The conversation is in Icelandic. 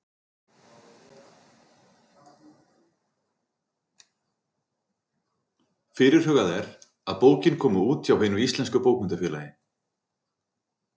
Fyrirhugað er að bókin komi út hjá Hinu íslenska bókmenntafélagi.